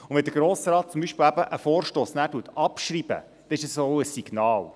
Wenn der Grosse Rat zum Beispiel einen Vorstoss abschreibt, ist das auch ein Signal.